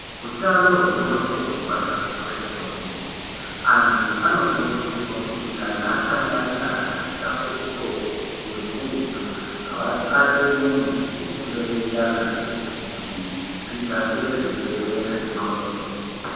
Hutano hwengonxo hunofanira kukosheswa kwemene antu anokurudzirwa kuti kana asangana nedambudziko gurutu vatsvake muntu wekureketa naye kuti zvidzasire zvirwere mungonxo.